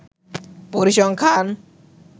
পরিসংখ্যান